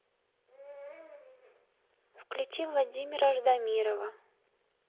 включи владимира ждамирова